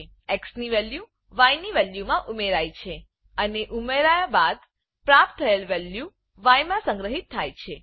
x ની value Y ની value માં ઉમેરાય છે અને ઉમેરાય બાદ પ્રાપ્ત થયેલ વેલ્યુ ય માં સંગ્રહિત થાય છે